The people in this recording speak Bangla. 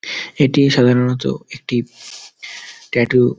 এটি সাধারণত একটি ট্যাটু --